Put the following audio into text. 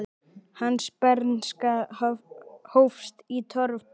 Hans bernska hófst í torfbæ.